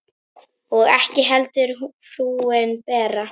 Og ekki heldur frúin Bera.